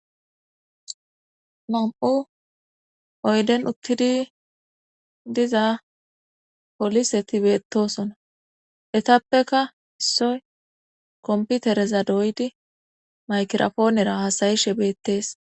Nam7u oyden uttidi diza polise tibetosona etappeka issoy komputereza dooydi makirafoonera hasayishe beettees.